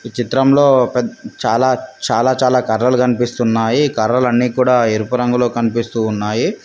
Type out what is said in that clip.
ఈ చిత్రంలో పెద్ చాలా చాలా చాలా కర్రలు కనిపిస్తున్నాయి ఈ కర్రలు అన్నీ కూడా ఎరుపు రంగులో కనిపిస్తూ ఉన్నాయి.